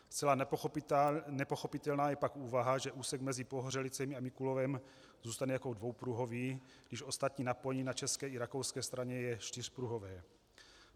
Zcela nepochopitelná je pak úvaha, že úsek mezi Pohořelicemi a Mikulovem zůstane jako dvoupruhový, když ostatní napojení na české i rakouské straně je čtyřpruhové.